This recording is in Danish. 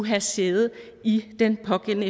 have sæde i den pågældende